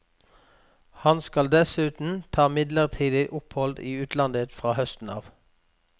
Han skal dessuten ta midlertidig opphold i utlandet fra høsten av.